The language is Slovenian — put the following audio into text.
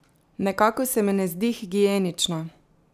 Nekako se mi ne zdi higienično!